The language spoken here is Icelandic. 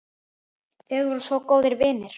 Þið voruð svo góðir vinir.